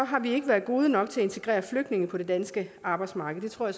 har vi ikke været gode nok til at integrere flygtninge på det danske arbejdsmarked det tror